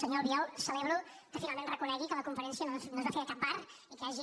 senyor albiol celebro que finalment reconegui que la conferència no es va fer a cap bar i que hagi